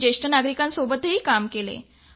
मी ज्येष्ठ नागरिकांसोबत काम करते